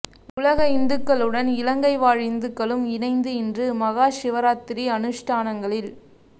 உலக இந்துக்களுடன் இலங்கை வாழ் இந்துக்களும் இணைந்து இன்று மகாசிவராத்திரி அனுஷ்டானங்களில்